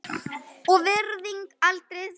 og virðing aldrei þverra.